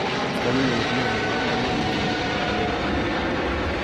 Tos kakenyor nee nepo kamunet nekitikane tipik